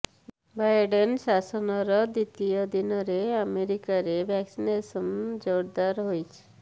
Biden ଶାସନର ଦ୍ୱିତୀୟ ଦିନରେ ଆମେରିକାରେ ଭ୍ୟାକ୍ସିନେଶନ ଜୋରଦାର ହୋଇଛି